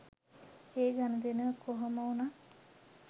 ඒ ගනුදෙනුව කොහොමවුණත්